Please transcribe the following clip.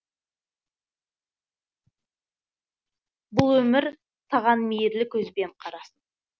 бұл өмір саған мейірлі көзбен қарасын